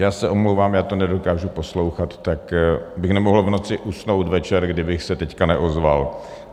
Já se omlouvám, já to nedokážu poslouchat, tak bych nemohl v noci usnout večer, kdybych se teď neozval.